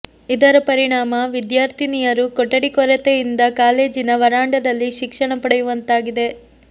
ಇದರ ಪರಿಣಾಮ ವಿದ್ಯಾರ್ಥಿನಿಯರು ಕೊಠಡಿ ಕೊರತೆಯಿಂದ ಕಾಲೇಜಿನ ವರಾಂಡದಲ್ಲಿ ಶಿಕ್ಷಣ ಪಡೆಯುವಂತಾಗಿದೆ